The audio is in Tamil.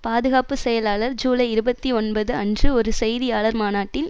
பாதுகாப்பு செயலாளர் ஜூலை இருபத்தி ஒன்பது அன்று ஒரு செய்தியாளர் மாநாட்டில்